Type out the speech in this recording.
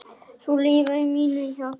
Þú lifir í mínu hjarta.